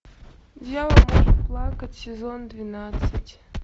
дьявол может плакать сезон двенадцать